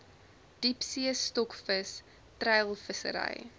diepsee stokvis treilvissery